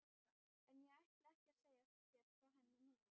En ég ætla ekki að segja þér frá henni núna.